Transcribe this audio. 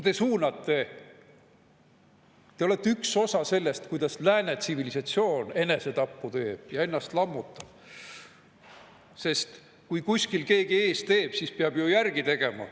Teie suunate seda, te olete üks osa sellest, miks lääne tsivilisatsioon enesetappu teeb ja ennast lammutab, sest kui kuskil keegi ees teeb, siis peab ju järele tegema.